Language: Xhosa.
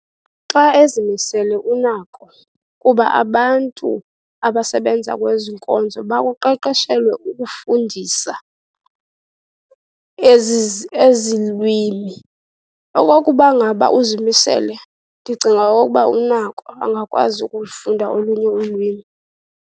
Xa ezimisele unako kuba abantu abasebenza kwezi nkonzo, bakuqeqeshelwe ukufundisa ezi ezi lwimi. Okokuba ngaba uzimisele, ndicinga okokuba unako, angakwazi ukufunda olunye ulwimi.